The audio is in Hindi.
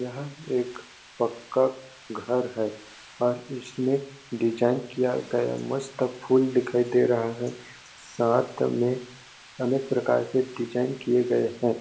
यहाँ एक पक्का घर है और ईसमें डिज़ाइन किया गया मस्त फूल दिखाई दे रहा है साथ में अलग प्रकार के डिज़ाइन किये गए है।